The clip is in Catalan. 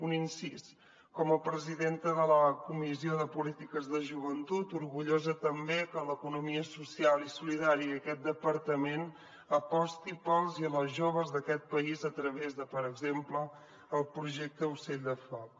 un incís com a presidenta de la comissió de polítiques de joventut orgullosa també que l’economia social i solidària i aquest departament apostin pels i les joves d’aquest país a través de per exemple el projecte ocell de foc